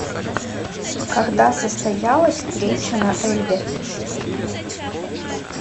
когда состоялась встреча на эльбе